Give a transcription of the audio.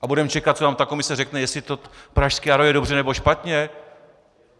A budeme čekat, co nám ta komise řekne, jestli to Pražské jaro je dobře, nebo špatně?